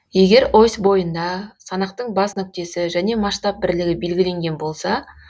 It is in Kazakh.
егер ось бойында санақтың бас нүктесі және масштаб бірлігі белгіленген болса